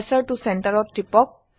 কাৰ্চৰ ত চেণ্টাৰ ত টিপক